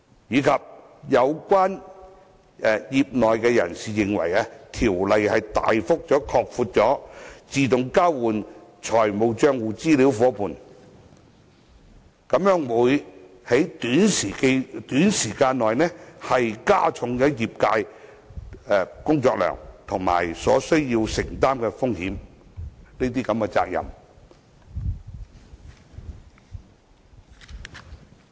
此外，有業內人士認為，《條例草案》大幅擴闊自動交換資料夥伴的範圍，將會在短時間內加重業界的工作量及所須承擔的風險及責任。